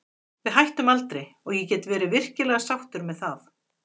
Við hættum aldrei og ég get verið virkilega sáttur með það.